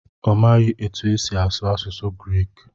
ọ maghị otú e si asụ asụsụ Grik